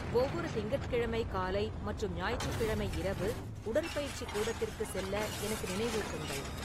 ஒவ்வொரு திங்கட்கிழமை காலை மற்றும் ஞாயிற்றுக்கிழமை இரவு உடற்பயிற்சி கூடத்திற்கு செல்ல எனக்கு நினைவூட்டுங்கள்